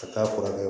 Ka taa furakɛ